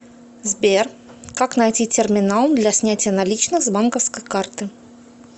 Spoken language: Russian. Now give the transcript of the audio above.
сбер как найти терминал для снятия наличных с банковской карты